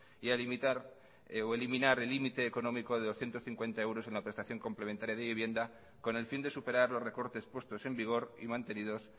y a eliminar el límite económico de doscientos cincuenta euros en la prestación complementaria de vivienda con el fin de superar los recortes puestos en vigor y mantenidos